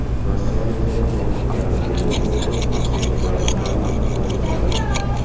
Rossiyaliklar yangi karantindan qo‘rqib, mahsulotlarni g‘amlab qo‘ya boshladi.